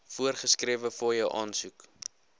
voorgeskrewe fooie aansoek